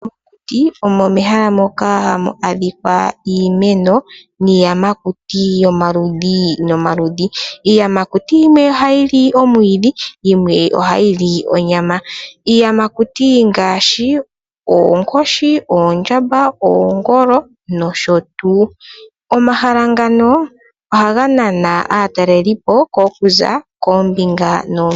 Mokuti omo mehala moka hamu adhika iimeno niiyamakuti yomaludhi nomaludhi. Iiyamakuti yimwe ohayi li omwiidhi yimwe ohayi li onyama. Iiyamakuti ongaashi oonkoshi, oondjamba, oongolo nosho tuu. Omahala ngano ohaga nana aatalelipo okuza koombinga noombinga.